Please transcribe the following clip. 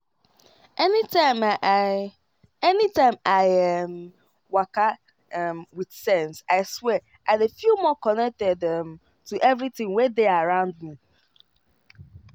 anytime i um anytime i um waka um with sense i swear i dey feel more connected um to everything wey dey around me.